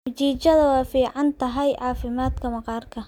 Mchichada waa fiican tahay caafimaadka maqaarka.